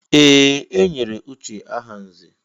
Ee! E nyere Uche aha nzè.